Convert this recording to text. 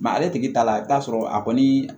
ale tigi ta la i bɛ t'a sɔrɔ a kɔni